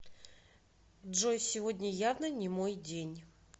джой сегодня явно не мой день